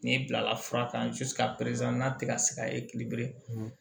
N'i bilala fura kan n'a tɛ ka se ka ye kiliyanw